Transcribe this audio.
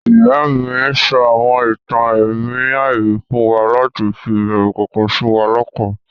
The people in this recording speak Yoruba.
Ìyá-ìy mi sọ àwọn ìtàn ẹ̀mí àìrí fún wa láti fi ìbẹrù kọ̀ọ̀kan sí wa lọ́kàn.